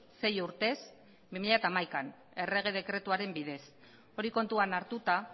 sei urtez bi mila hamaikaan errege dekretuaren bidez hori kontuan hartuta